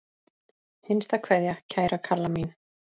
HINSTA KVEÐJA Kæra Kalla mín.